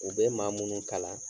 U be maa munnu kalan